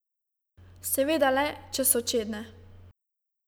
Seveda le, če so čedne.